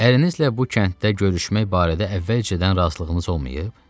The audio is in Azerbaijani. Ərinizlə bu kənddə görüşmək barədə əvvəlcədən razılığınız olmayıb?